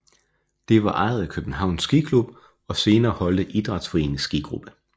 Det var ejet af Københavns Skiklub og senere Holte Idrætsforenings skigruppe